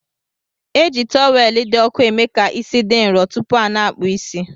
Eji tọwelu di ọku emeka isi di nrọ tupu ana akpụ isi.